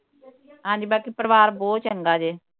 ਹਾਂਜੀ ਬਾਕੀ ਪਰਿਵਾਰ ਬਹੁਤ ਚੰਗਾ ਜੇ